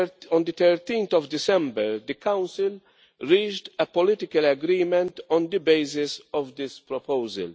On 13 December, the Council reached a political agreement on the basis of this proposal.